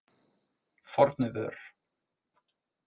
Fornuvör